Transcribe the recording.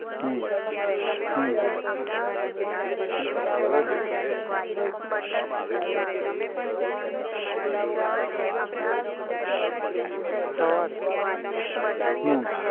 હમ હમ બરાબર. સવારે હમ